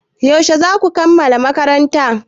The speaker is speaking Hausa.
Yaushe za ku kammala makaranta?